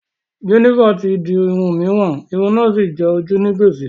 Jennifer ti di irun òmíràn, irun náà sì jẹ ojú ní gbèsè